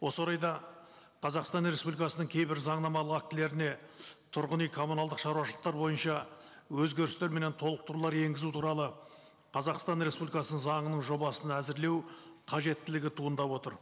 осы орайда қазақстан республикасының кейбір заңнамалық актілеріне тұрғын үй коммуналдық шаруашылықтар бойынша өзгерістер менен толықтырулар енгізу туралы қазақстан республикасы заңының жобасын әзірлеу қажеттілігі туындап отыр